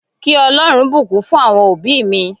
Kí Ọlọ́run bùkún fún àwọn òbí mi